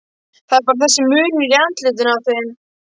Það er bara þessi munur í andlitinu á þeim.